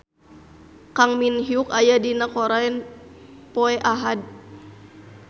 Kang Min Hyuk aya dina koran poe Ahad